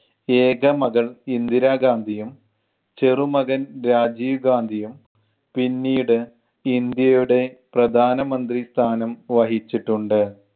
ഏക മകൾ ഇന്ദിരാ ഗാന്ധിയും ചെറുമകൻ രാജീവ് ഗാന്ധിയും പിന്നീട് ഇന്ത്യയുടെ പ്രധാനമന്ത്രി സ്ഥാനം വഹിച്ചിട്ടുണ്ട്.